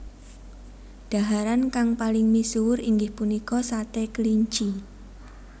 Dhaharan kang paling misuwur inggih punika sate kelinci